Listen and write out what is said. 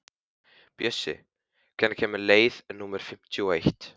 Bjössi, hvenær kemur leið númer fimmtíu og eitt?